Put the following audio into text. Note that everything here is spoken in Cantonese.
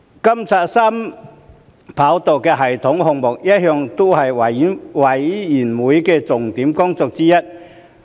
監察三跑道系統項目一向是事務委員會的重點工作之一。